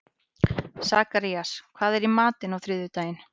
Sakarías, hvað er í matinn á þriðjudaginn?